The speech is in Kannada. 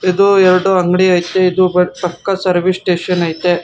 ಇದು ಎರಡು ಅಂಗಡಿ ಐತೆ ಇದು ಬ ಪಕ್ಕ ಸರ್ವೀಸ್ ಸ್ಟೇಷನ್ ಐತೆ.